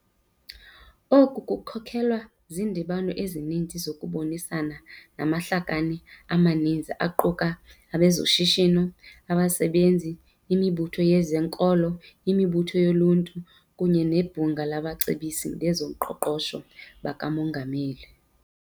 Oku kukhokelwe zindibano ezininzi zokubonisana namahlakani amaninzi aquka abezoshishi no, abasebenzi, imibutho yezenkolo, imibutho yoluntu kunye neBhunga labaCebisi bezoQoqosho bakaMongameli.